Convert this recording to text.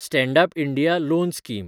stand up India loan scheme